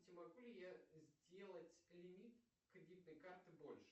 могу ли я сделать лимит кредитной карты больше